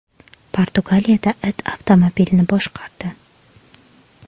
Portugaliyada it avtomobilni boshqardi .